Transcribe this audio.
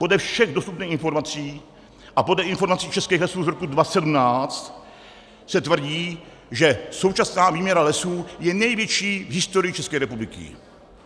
Podle všech dostupných informací a podle informací Českých lesů z roku 2017 se tvrdí, že současná výměra lesů je největší v historii České republiky.